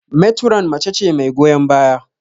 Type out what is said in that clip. Meturon mace ce mai goyon baya.